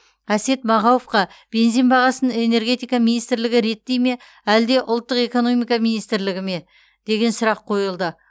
әсет мағауовқа бензин бағасын энергетика министрлігі реттей ме әлде ұлттық экономика министрлігі ме деген сұрақ қойылды